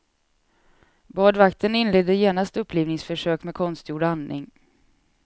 Badvakten inledde genast upplivningsförsök med konstgjord andning.